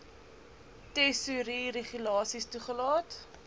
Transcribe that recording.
tesourie regulasies toegelaat